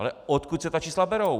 Ale odkud se ta čísla berou?